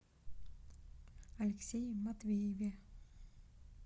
алексее матвееве